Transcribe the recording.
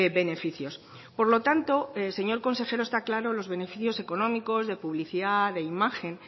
beneficios por lo tanto señor consejero está claro los beneficios económicos de publicidad de imagen